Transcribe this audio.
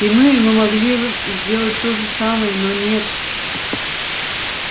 и мы мы могли бы сделать то же самое но нет